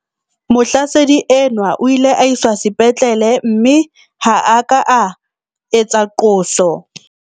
Mohlasedi enwa o ile a iswa sepetlele mme ha a ka a etsa qoso.